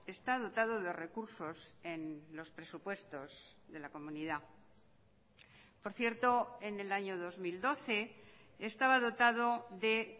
está dotado de recursos en los presupuestos de la comunidad por cierto en el año dos mil doce estaba dotado de